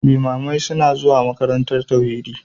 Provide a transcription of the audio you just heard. Limamai suna zuwa makarantar tauhidi